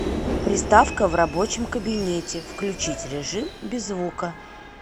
приставка в рабочем кабинете включить режим без звука